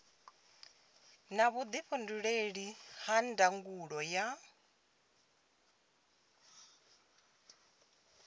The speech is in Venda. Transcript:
na vhuifhinduleli ha ndangulo ya